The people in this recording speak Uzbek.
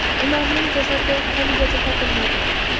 Ularning jasadi haligacha topilmadi.